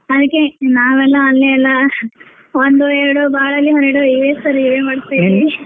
ಅದ್ಕೇ ನಾವೆಲ್ಲ ಅಲ್ಲೆ ಎಲ್ಲಾ ಒಂದು ಎರಡು ಬಾಳೆಲೆ ಹರಡು ಎನ್ ಮಾಡ್ತಿರೀ